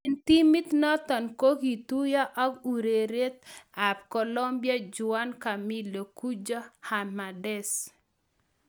En timit noton kogituiyo ak ureriet ab Colombia Juan Camilo 'Cucho' Hernandez.